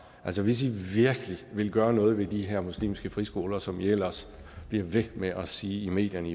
altså hvis i virkelig ville gøre noget ved de her muslimske friskoler som i ellers bliver ved med at sige i medierne